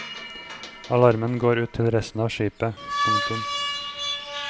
Alarmen går ut til resten av skipet. punktum